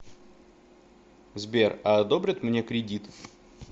сбер а одобрят мне кридит